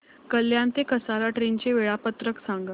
कल्याण ते कसारा ट्रेन चे वेळापत्रक सांगा